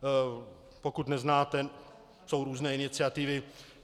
Pokud neznáte, jsou různé iniciativy.